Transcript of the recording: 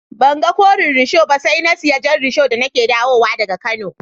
Ban gan Koren risho ba sai na siya Jan risho da ni ke dawo wa da ga kano.